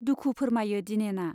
दुखु फोरमायो दिनेना।